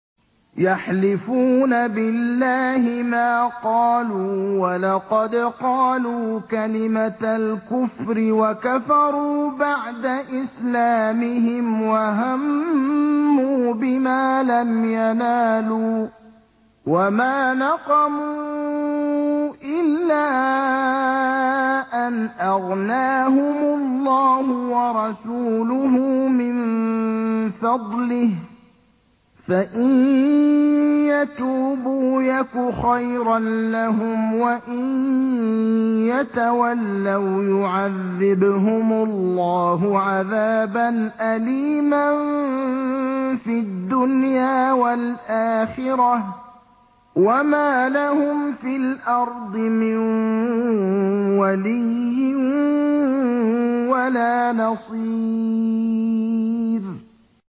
يَحْلِفُونَ بِاللَّهِ مَا قَالُوا وَلَقَدْ قَالُوا كَلِمَةَ الْكُفْرِ وَكَفَرُوا بَعْدَ إِسْلَامِهِمْ وَهَمُّوا بِمَا لَمْ يَنَالُوا ۚ وَمَا نَقَمُوا إِلَّا أَنْ أَغْنَاهُمُ اللَّهُ وَرَسُولُهُ مِن فَضْلِهِ ۚ فَإِن يَتُوبُوا يَكُ خَيْرًا لَّهُمْ ۖ وَإِن يَتَوَلَّوْا يُعَذِّبْهُمُ اللَّهُ عَذَابًا أَلِيمًا فِي الدُّنْيَا وَالْآخِرَةِ ۚ وَمَا لَهُمْ فِي الْأَرْضِ مِن وَلِيٍّ وَلَا نَصِيرٍ